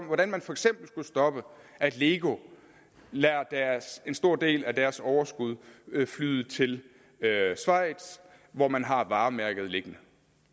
hvordan man for eksempel skulle stoppe at lego lader en stor del af deres overskud flyde til schweiz hvor man har varemærket liggende